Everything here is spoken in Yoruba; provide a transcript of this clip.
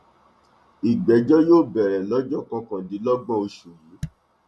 ìgbẹjọ yóò bẹrẹ lọjọ kọkàndínlọgbọn oṣù yìí